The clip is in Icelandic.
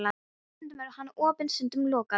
Stundum er hann opinn, stundum lokaður.